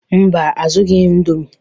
Mba, azụrụghị m indomie